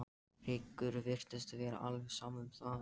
Rikku virtist vera alveg sama um það.